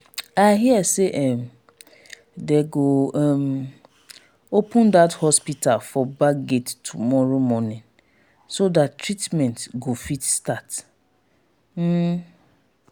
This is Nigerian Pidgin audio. i hear say um dey go um open dat hospital for back gate tomorrow morning so dat treatment go fit start um